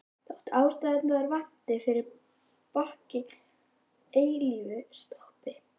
Þótt ástæðurnar vanti fyrir bakki og eilífu stoppi.